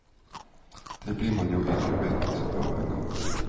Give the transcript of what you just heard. Det blir man jo ikke mett av engang.